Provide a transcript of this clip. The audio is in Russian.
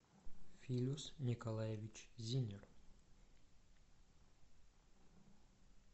филюс николаевич зиннер